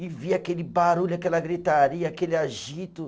E via aquele barulho, aquela gritaria, aquele agito.